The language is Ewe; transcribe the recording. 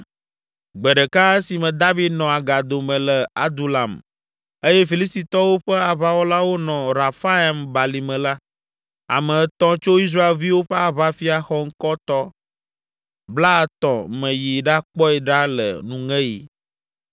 Gbe ɖeka, esime David nɔ agado me le Adulam eye Filistitɔwo ƒe aʋawɔlawo nɔ Refaim balime la, ame etɔ̃ tso Israelviwo ƒe aʋafia xɔŋkɔtɔ blaetɔ̃ me yi ɖakpɔe ɖa le nuŋeɣi.